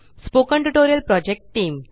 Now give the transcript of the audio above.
spoken tutorial project team